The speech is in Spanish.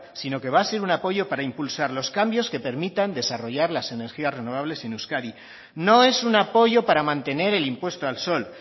sino que va a ser un apoyo para impulsar los cambios que permitan desarrollar las energías renovables en euskadi no es un apoyo para mantener el impuesto al sol